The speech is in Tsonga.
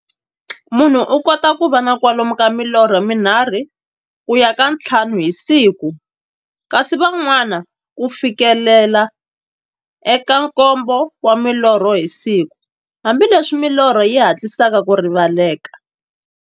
Munhu u kota ku va na kwalomu ka milorho mi nharhu ku ya ka ya nthlanu hi siku, kasi van'wana ku fikela eka nkombo wa milorho hi siku, hambileswi milorho yi hatlisaka ku rivaleka.